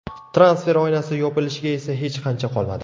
Transfer oynasi yopilishiga esa hech qancha qolmadi.